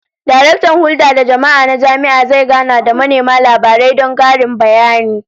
Daraktan Hulda da Jama'a na jami'a zai gana da manema labarai don karin bayani